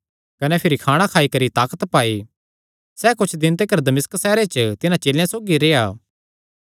कने भिरी खाणा खाई करी ताकत पाई सैह़ कुच्छ दिन तिकर दमिश्क सैहरे च तिन्हां चेलेयां सौगी रेह्आ